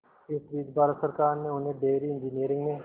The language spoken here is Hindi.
इस बीच भारत सरकार ने उन्हें डेयरी इंजीनियरिंग में